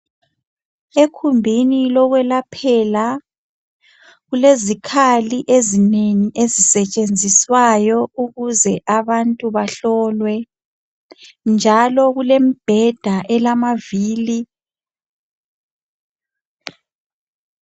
Ekhumbini lokwelaphela kulezikhali ezinengi ezisetshenziswayo ukuze abantu bahlolwe njalo kulembheda elamavili.